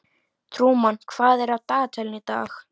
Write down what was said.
Trúmann, hvað er á dagatalinu í dag?